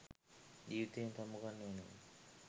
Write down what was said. ජීවිතයෙන් සමුගන්න වෙනවා.